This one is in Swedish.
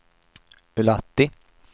Ullatti